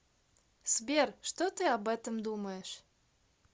сбер что ты об этом думаешь